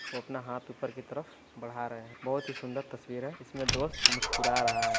वो अपना हाँथ ऊपर की तरफ बढ़ा रहे हैं। बहुत ही सुन्दर तस्वीर है। इसमें दोस्त मुस्कुरा रहा है।